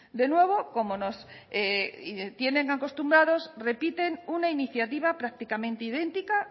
de nuevo como nos tienen acostumbrados repiten una iniciativa prácticamente idéntica